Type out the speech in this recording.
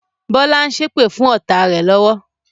Bọlá ń ṣépè fún ọ́ta rẹ lọ́wọ́